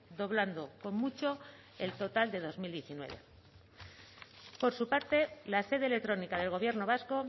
doblando con mucho el total de dos mil diecinueve por su parte la sede electrónica del gobierno vasco